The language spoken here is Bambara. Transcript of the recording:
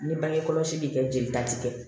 Ni bange kɔlɔsi bɛ kɛ jelita ti kɛ